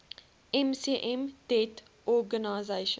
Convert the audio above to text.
mcm deat org